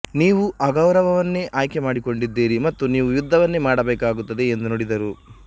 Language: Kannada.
ನೀವು ಅಗೌರವವನ್ನೇ ಆಯ್ಕೆ ಮಾಡಿಕೊಂಡಿದ್ದಿರಿ ಮತ್ತು ನಿವು ಯುದ್ದವನ್ನೇ ಮಾಡಬೇಕಾಗುತ್ತದೆ ಎಂದು ನುಡಿದರು